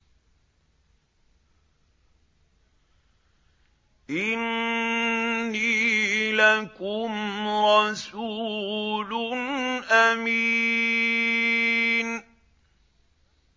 إِنِّي لَكُمْ رَسُولٌ أَمِينٌ